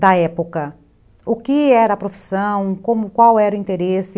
da época, o que era a profissão, como, qual era o interesse.